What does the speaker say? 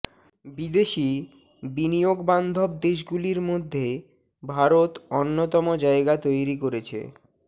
বিদেশি বিনিয়োগ বান্ধব দেশগুলির মধ্যে ভারত অন্যতম জায়গা তৈরি করেছে